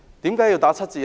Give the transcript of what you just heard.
為何要打七折？